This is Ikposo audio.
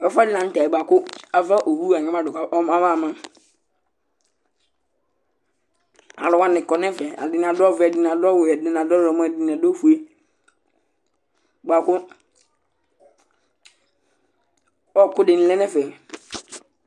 ɛfu ɛdi lantɛ boa kò ava owu la anyama do kò aba ma alo wani kɔ n'ɛfɛ ɛdini adu ɔvɛ ɛdini adu ɔwɛ ya du ɛdini adu ɔwlɔmɔ ɛdini adu ofue boa kò ɔku di ni lɛ n'ɛfɛ